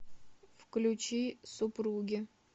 включи супруги